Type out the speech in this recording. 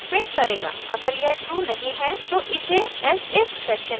अगर यह ट्रू नहीं है तो इसे elsif सेक्शन में जाना होगा